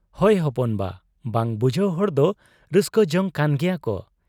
ᱦᱚᱭ ᱦᱚᱯᱚᱱ ᱵᱟ ᱾ ᱵᱟᱝ ᱵᱩᱡᱷᱟᱹᱣ ᱦᱚᱲᱫᱚ ᱨᱟᱹᱥᱠᱟᱹ ᱡᱚᱝ ᱠᱟᱱ ᱜᱮᱭᱟᱠᱚ ᱾